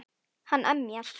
Hann emjar.